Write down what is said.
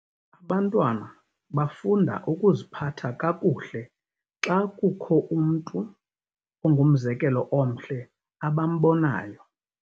Abantwana bafunda ukuziphatha kakuhle xa kukho umntu ongumzekelo omhle abambonayo.